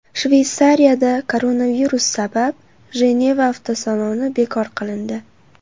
Shveysariyada koronavirus sabab Jeneva avtosaloni bekor qilindi.